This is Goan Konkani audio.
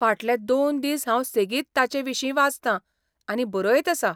फाटले दोन दीस हांव सेगीत ताचे विशीं वाचतां आनी बरयत आसा.